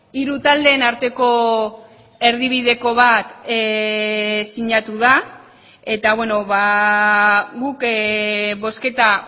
hiru taldeen arteko erdibideko bat sinatu da eta guk bozketa